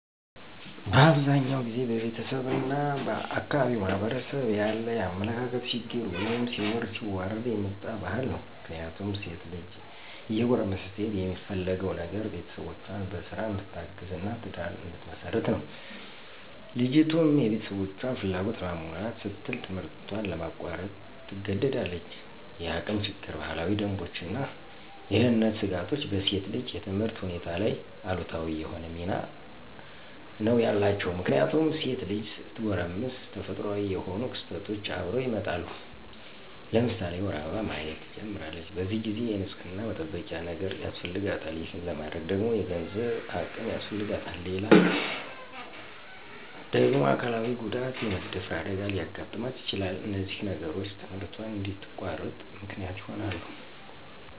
በአብዛኛው ጊዜ በቤተሰብ እና በአካባቢው ማህበረሰብ ያለ የአመለካከት ችግር ወይም ሲወርድ ሲዋረድ የመጣ ባህል ነው። ምክንያቱም ሴት ልጅ እየጎረመሰች ስትሄድ የሚፈለገው ነገር ቤተሰቦቿን በስራ እንድታግዝ እና ትዳር እንድትመሰርት ነው። ልጅቱም የቤተሰቦቿን ፍላጎት ለማሟላት ስትል ትምህርቷን ለማቋረጥ ትገደዳለች። የአቅም ችግር፣ ባህላዊ ደንቦች እና የደህንነት ስጋቶች በሴት ልጅ የትምህርት ሁኔታ ላይ አሉታዊ የሆነ ሚና ነው ያላቸው። ምክንያቱም ሴት ልጅ ስትጎረምስ ተፈጥሮአዊ የሆኑ ክስተቶች አብረው ይመጣሉ። ለምሳሌ የወር አበባ ማየት ትጀምራለች። በዚህ ጊዜ የንፅህና መጠበቂያ ነገር ያስፈልጋታል። ይሄን ለማድረግ ደግሞ የገንዘብ አቅም ያስፈልጋታል። ሌላው ደግሞ አካላዊ ጉዳት( የመደፈር አደጋ) ሊያጋጥማት ይችላል። እነዚህ ነገሮች ትምህርቷን እንድታቋርጥ ምክንያት ይሆናሉ።